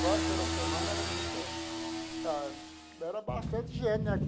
Quase toda semana era muita ah... Era bastante gente, né?